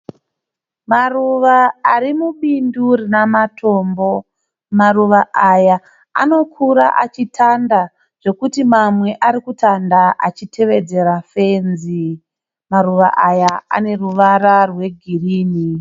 Maruva ari mubindu rina matombo. Maruva aya anokura achitanda zvekuti mamwe arikutanda achitevedzera fenzi. Maruva aya ane ruvara rwe girini.